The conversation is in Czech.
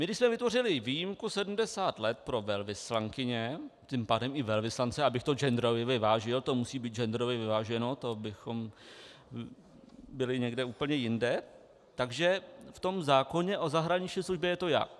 My když jsme vytvořili výjimku 70 let pro velvyslankyně, tím pádem i velvyslance, abych to genderově vyvážil, to musí být genderově vyváženo, to bychom byli někde úplně jinde, takže v tom zákoně o zahraniční službě je to jak?